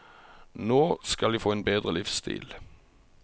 Nå skal de få en bedre livsstil.